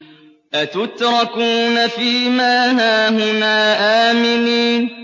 أَتُتْرَكُونَ فِي مَا هَاهُنَا آمِنِينَ